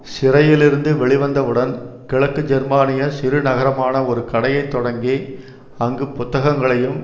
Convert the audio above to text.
சிறையிலிருந்து வெளிவந்தவுடன் கிழக்கு ஜெர்மானிய சிறுநகரமான ஒரு கடையைத் தொடங்கி அங்கு புத்தகங்களையும்